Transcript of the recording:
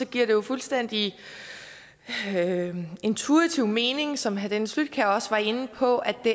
giver det jo fuldstændig intuitivt mening som herre dennis flydtkjær også var inde på at det